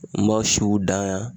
N ba siw dan yan